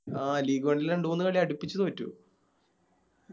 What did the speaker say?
ആ League one ല് രണ്ട് മൂന്ന് കളി അടുപ്പിച്ച് തോറ്റു